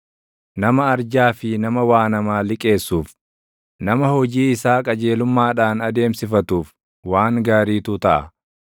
Nama arjaa fi nama waa namaa liqeessuuf, nama hojii isaa qajeelummaadhaan adeemsifatuuf // waan gaariitu taʼa.